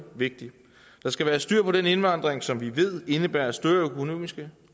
vigtig der skal være styr på den indvandring som vi ved indebærer større økonomiske